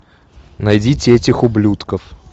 найдите этих ублюдков